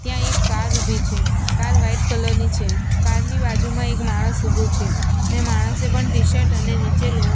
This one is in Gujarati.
ત્યાં એક કાર ઊભી છે કાર વ્હાઈટ કલર ની છે કાર ની બાજુમાં એક માણસ ઊભો છે ને માણસે પણ ટીશર્ટ અને નીચે. લો--